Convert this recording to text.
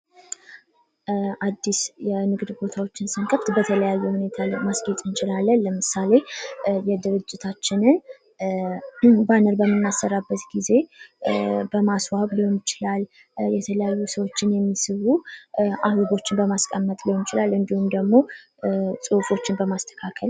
አድስ የንግድ ቦታዎችን ስንከፍት በተለያየ ነገር ማስጌጥ እንችላለን ለምሳሌ የድርጅታችንን ብዙ ባነር በምናሰራበት ጊዜ በማስዋብ ሊሆን ይችላል የተለያዩ ሰዎችን የሚስቡ አምዶች በማስቀመጥ ሊሆን ይችላል እንድሁም ደግሞ ጽሑፎችን በማስተካከል።